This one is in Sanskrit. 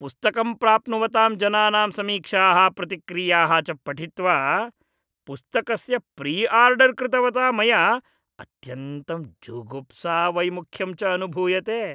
पुस्तकं प्राप्नुवतां जनानां समीक्षाः प्रतिक्रियाः च पठित्वा पुस्तकस्य प्रिआर्डर् कृतवता मया अत्यन्तं जुगुप्सा वैमुख्यं च अनुभूयते।